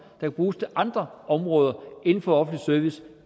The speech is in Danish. kan bruges til andre områder inden for offentlig service